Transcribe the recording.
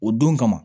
O don kama